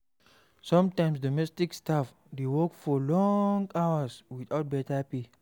Sometimes domestic staff dey work for long hours without better pay